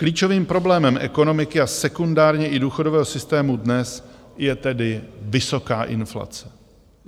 Klíčovým problémem ekonomiky a sekundárně i důchodového systému dnes je tedy vysoká inflace.